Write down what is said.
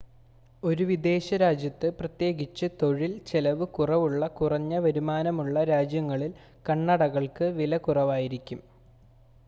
ഒരു വിദേശ രാജ്യത്ത് പ്രത്യേകിച്ച് തൊഴിൽ ചെലവ് കുറവുള്ള കുറഞ്ഞ വരുമാനമുള്ള രാജ്യങ്ങളിൽ കണ്ണടകൾക്ക് വില കുറവായിരിക്കും